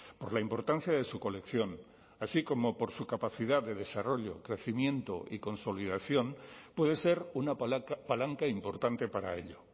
por la importancia de su colección así como por su capacidad de desarrollo crecimiento y consolidación puede ser una palanca importante para ello